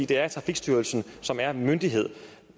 det er trafikstyrelsen som er myndighed